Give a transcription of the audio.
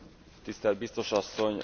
Tisztel Biztos Asszony!